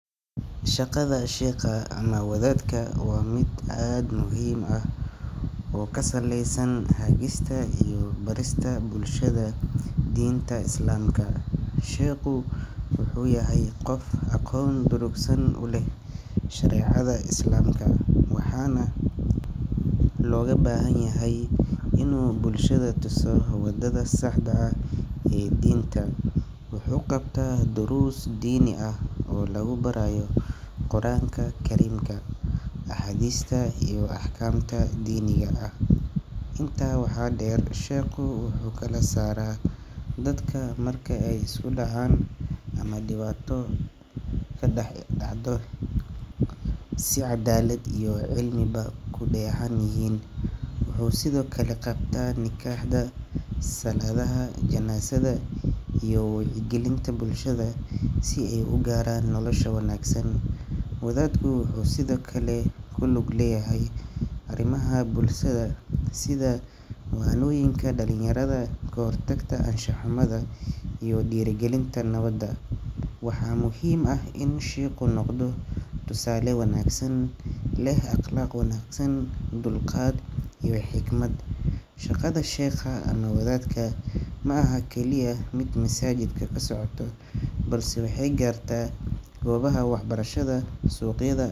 Shaqada sheekha ama wadaadka waa mid aad u muhiim ah oo ku saleysan hagista iyo barista bulshada diinta Islaamka. Sheekhu wuxuu yahay qof aqoon durugsan u leh shareecada Islaamka, waxaana looga baahan yahay inuu bulshada tuso waddada saxda ah ee diinta. Wuxuu qabtaa duruus diini ah oo lagu barayo Qur’aanka Kariimka, axaadiista iyo axkaamta diiniga ah. Intaa waxaa dheer, sheekhu wuxuu kala saaraa dadka marka ay isku dhacaan ama dhibaato ka dhex dhacdo si cadaalad iyo cilmiba ku dheehan yihiin. Wuxuu sidoo kale qabtaa nikaxyada, salaadaha janaasada, iyo wacyigelinta bulshada si ay u gaaraan nolosha wanaagsan. Wadaadku wuxuu sidoo kale ku lug leeyahay arrimaha bulshada sida waanooyinka dhalinyarada, ka hortagga anshax xumada iyo dhiirrigelinta nabadda. Waxaa muhiim ah in sheekhu noqdo tusaale wanaagsan, leh akhlaaq wanaagsan, dulqaad iyo xikmad. Shaqada sheekha ama wadaadka ma aha oo keliya mid masaajidka ka socota balse waxay gaartaa goobaha waxbarashada, suuqyada.